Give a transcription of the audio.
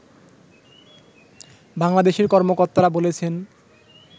বাংলাদেশের কর্মকর্তারা বলেছেন